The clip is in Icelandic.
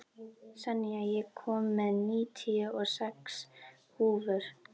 Senía, ég kom með níutíu og sex húfur!